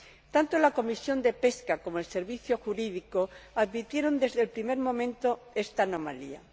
Tanto la Comisión de Pesca como el Servicio Jurídico advirtieron desde el primer momento esta anomalía